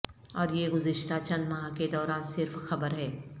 اور یہ گزشتہ چند ماہ کے دوران صرف خبر ہے